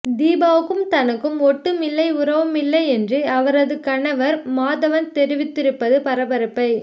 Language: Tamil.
தீபாவுக்கும் தனக்கும் ஒட்டும் இல்லை உறவுமில்லை என்று அவரது கணவர் மாதவன் தெரிவித்திருப்பது பரபரப்பை